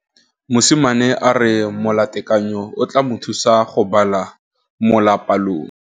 Mosimane a re molatekanyô o tla mo thusa go bala mo molapalong.